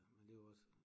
Men det var også